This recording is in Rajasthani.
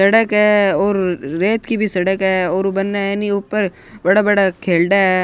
सड़क है और रेत की भी सड़क है और बन ह नि ऊपर बड़ा बड़ा खेलडा हैं।